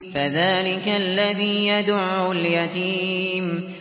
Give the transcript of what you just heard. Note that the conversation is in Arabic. فَذَٰلِكَ الَّذِي يَدُعُّ الْيَتِيمَ